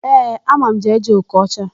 Ee, ama m Jee-Jee Okocha.